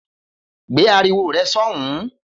Gbé ariwo re̩ só̩hùn-ún!